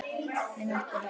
Mun hann spila vel?